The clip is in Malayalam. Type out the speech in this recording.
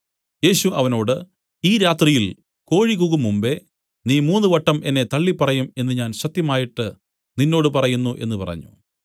യേശു അവനോട് ഈ രാത്രിയിൽ കോഴി കൂകുംമുമ്പെ നീ മൂന്നുവട്ടം എന്നെ തള്ളിപ്പറയും എന്നു ഞാൻ സത്യമായിട്ട് നിന്നോട് പറയുന്നു എന്നു പറഞ്ഞു